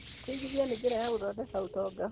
Kũigithia nĩ njĩra ya gũthondeka ũtonga.